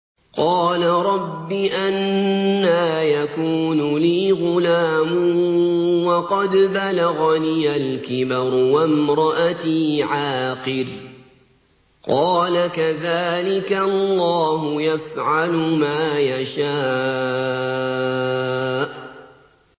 قَالَ رَبِّ أَنَّىٰ يَكُونُ لِي غُلَامٌ وَقَدْ بَلَغَنِيَ الْكِبَرُ وَامْرَأَتِي عَاقِرٌ ۖ قَالَ كَذَٰلِكَ اللَّهُ يَفْعَلُ مَا يَشَاءُ